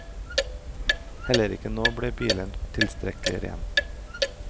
Heller ikke nå ble bilen tilstrekkelig ren.